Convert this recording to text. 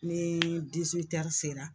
Ni sera